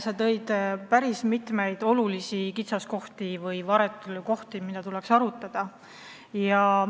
Sa nimetasid päris mitut kitsaskohta või teemat, mida tuleks arutada.